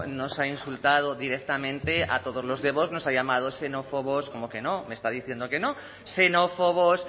nos ha insultado directamente a todos los de vox nos ha llamado xenófobos cómo que no me está diciendo que no xenófobos